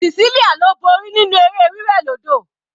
Cecelia ló borí nínú eré wí wẹ̀ lódò.